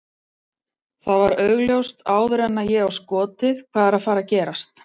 Það var augljóst áður en að ég á skotið hvað er að fara að gerast.